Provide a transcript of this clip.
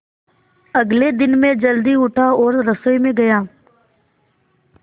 अगले दिन मैं जल्दी उठा और रसोई में गया